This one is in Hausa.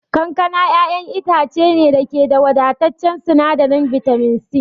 Kankana ƴaƴan itace ne da ke da wadataccen sinadarin bitamin C.